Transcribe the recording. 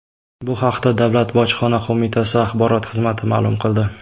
Bu haqda Davlat bojxona qo‘mitasi axborot xizmati ma’lum qildi .